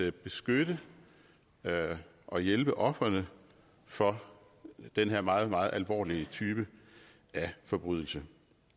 at beskytte og hjælpe ofrene for den her meget meget alvorlige type forbrydelse